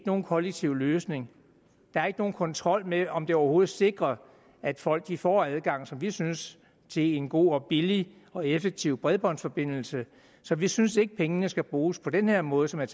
nogen kollektiv løsning der er ikke nogen kontrol med om vi overhovedet sikrer at folk får adgang som vi synes til en god og billig og effektiv bredbåndsforbindelse så vi synes ikke pengene skal bruges på den her måde som er